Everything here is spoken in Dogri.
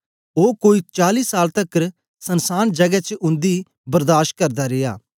ओ कोई चाली साल तकर सन्सान जगै च उन्दी बर्दाश करदा रिया